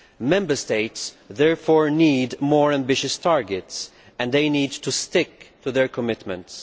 Member States therefore need more ambitious targets, and need to stick to their commitments.